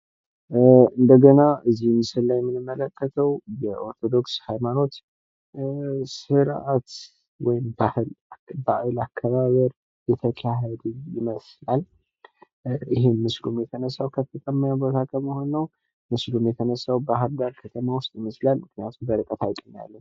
እንደገና ከዚህ ምስል ላይ የምንመለከተው የኦርቶዶክስ ህይማኖት ስርዓት ወይም ባህል አከባበር ይመስላል። ይህም ምስሉ የተነሳው ከፍተኛ ቦታ በመሆን ነው። ምክንያቱ ምስሉም የተነሳው ባህር ዳር ከተማ ውስጥ ይመስላል። ምክንያቱም በርቀት ሀይቅ እናያለን።